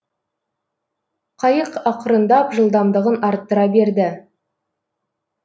қайық ақырындап жылдамдығын арттыра берді